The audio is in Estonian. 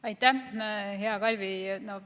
Aitäh, hea Kalvi!